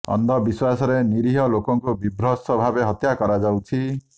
ଅନ୍ଧ ବିଶ୍ୱାସରେ ନିରୀହ ଲୋକଙ୍କୁ ବିଭତ୍ସ ଭାବେ ହତ୍ୟା କରାଯାଉଛି